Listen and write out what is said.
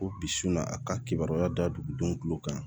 Ko bisun na a ka kibaruya da dugudenw kulo kan